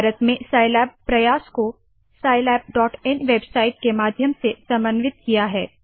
भारत में साइलैब प्रयास को scilabइन वेबसाइट के माध्यम से समन्वित किया है